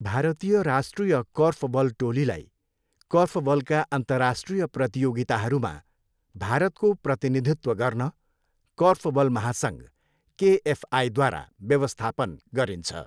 भारतीय राष्ट्रिय कोर्फबल टोलीलाई, कोर्फबलका अन्तर्राष्ट्रिय प्रतियोगिताहरूमा भारतको प्रतिनिधित्व गर्न, कोर्फबल महासङ्घ, केएफआईद्वारा व्यवस्थापन गरिन्छ।